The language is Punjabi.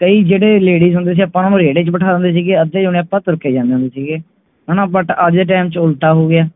ਕਈ ਜਿਹੜੇ ladies ਹੁੰਦੇ ਸੀ ਆਪਾਂ ਉੰਨਾ ਨੂੰ ਰੇੜੇ ਚ ਬਿਠਾ ਦਿੰਦੇ ਸੀਅੱਧੇ ਜਣੇ ਆਪਾਂ ਤੁਰ ਕੇ ਜਾਂਦੇ ਹੁੰਦੇ ਸੀਗੇ but ਅੱਜ ਦੇ time ਵਿਚ ਉਲਟਾ ਹੋਗਿਆ